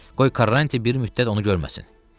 Qoy Karanç bir müddət onu görməsin.